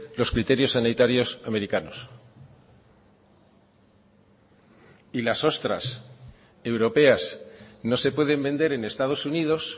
los criterios sanitarios americanos y las ostras europeas no se pueden vender en estados unidos